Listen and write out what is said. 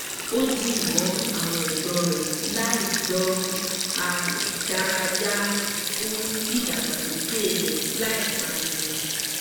ó di mọ́ àwọn ẹ̀gbọ́n rẹ̀ láì gbọ́n a dárayá fún ìdàgbàsókè rẹ̀ láì pariwo